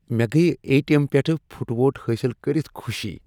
مےٚ گٔیہ A T M پٮ۪ٹھٕ پُھٹووٹھ حٲصل کٔرتھ خوشی۔